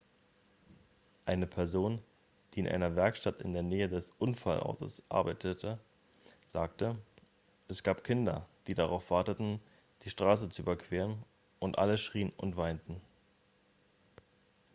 eine person die in einer werkstatt in der nähe des unfallortes arbeitete sagte es gab kinder die darauf warteten die straße zu überqueren und alle schrien und weinten